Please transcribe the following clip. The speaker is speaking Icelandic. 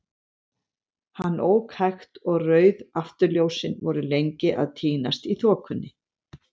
Hann ók hægt, og rauð afturljósin voru lengi að týnast í þokunni.